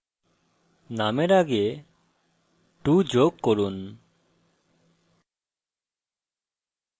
নামের আগে 2 যোগ করুন